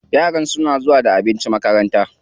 Yaran suna zuwa da abinci makaranta.